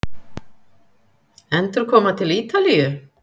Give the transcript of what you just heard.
Endurkoma til Ítalíu?